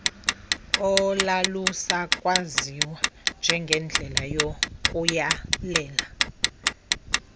olalusakwaziwa njengendlela yokuyalela